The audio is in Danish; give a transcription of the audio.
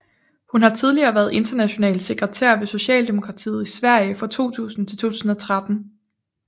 Hun har tidligere været international sekretær ved Socialdemokratiet i Sverige fra 2000 til 2013